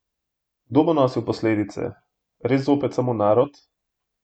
Kdo bo nosil posledice, res zopet samo narod?